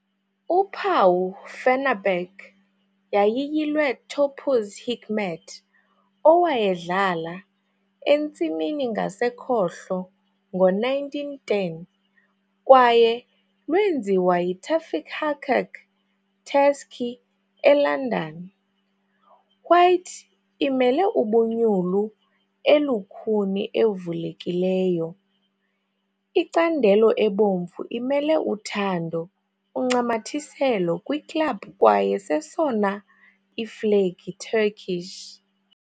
Uphawu Fenerbahçe yayiyilwe Topuz Hikmet owayedlala "entsimini ngasekhohlo" ngo-1910 kwaye lwenziwa yi-Tevfik Haccak, Tasci, eLondon. White imele ubunyulu elukhuni evulekileyo, icandelo ebomvu imele uthando uncamathiselo kwi-club kwaye sesona iflegi Turkish.